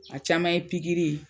A caman ye pikiri ye.